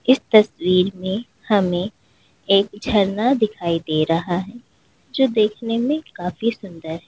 इस तस्वीर में हमें एक झरना दिखाई दे रहा है जो देखने में काफी सुंदर--